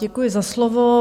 Děkuji za slovo.